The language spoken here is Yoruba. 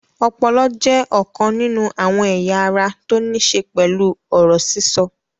Ọpọlọ jẹ́ ọ̀kan nínú àwọn ẹ̀yà ara tó ní ṣe pẹ̀lú ọ̀rọ̀ sísọ